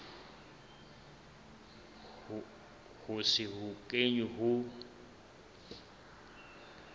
ho se ho kenwe ho